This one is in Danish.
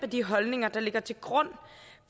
de holdninger der ligger til grund